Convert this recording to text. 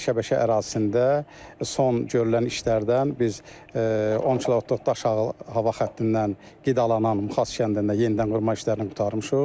Şəbəkə ərazisində son görülən işlərdən biz 10 kilovoltluq hava xəttindən qidalanan Muxas kəndində yenidən qurma işlərini qurtarmışıq.